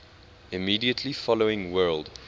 immediately following world